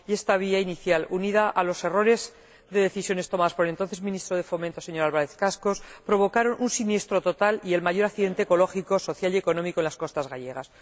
Y esta vía inicial, unida a los errores de decisiones tomadas por el entonces Ministro de Fomento, señor Álvarez Cascos, provocaron un siniestro total y el mayor accidente ecológico, social y económico en las costas gallegas.